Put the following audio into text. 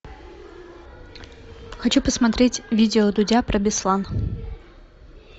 хочу посмотреть видео дудя про беслан